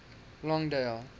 longdale